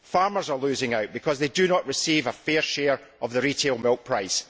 Farmers are losing out because they do not receive a fair share of the retail milk price.